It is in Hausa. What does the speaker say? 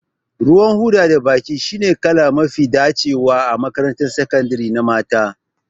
Ruwan hoda da baƙi shine kala mafi dacewa a makarantar sakandare na mata